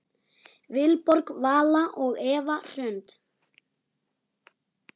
Vilborg Vala og Eva Hrund.